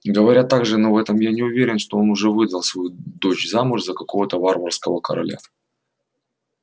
говорят также но в этом я не уверен что он уже выдал свою дочь замуж за какого-то варварского короля